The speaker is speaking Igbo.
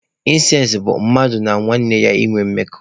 Ịnsest bụ mmadụ na nwanne ya ịnwe mmekọ.